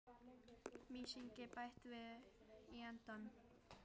Mysingi bætt við í endann.